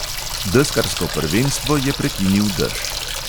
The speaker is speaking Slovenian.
Deskarsko prvenstvo je prekinil dež.